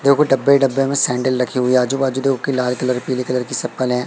देखो डब्बे ही डब्बे में सैंडल रखी हुई है आजू बाजू देखो कि लाल कलर पीले कलर की है।